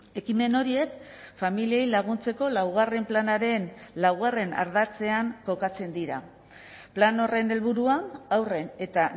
ekimen horiek familiei laguntzeko laugarren planaren laugarrena ardatzean kokatzen dira plan horren helburua haurren eta